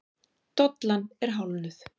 Dollan er hálfnuð.